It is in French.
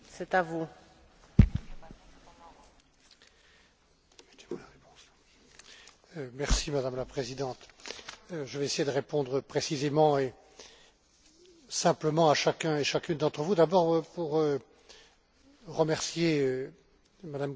Madame la Présidente, je vais essayer de répondre précisément et simplement à chacun et chacune d'entre vous. Tout d'abord, pour remercier Mme Gebhardt d'avoir rappelé le progrès qui a été fait sur le texte initial de la Commission, grâce au Parlement,